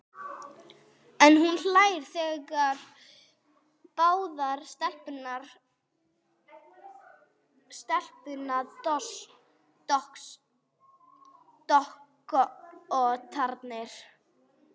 En hún hlær- þær hlæja báðar, stelpuandskotarnir.